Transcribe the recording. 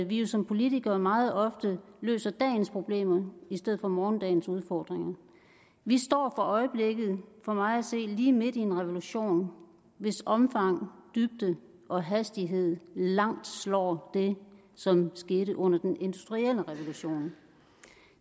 vi jo som politikere meget ofte løser dagens problemer i stedet for morgendagens udfordringer vi står for øjeblikket for mig at se lige midt i en revolution hvis omfang dybde og hastighed langt slår det som skete under den industrielle revolution